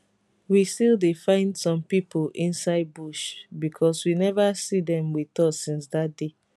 we still dey find some pipo inside bush becos we neva see dem wit us since dat day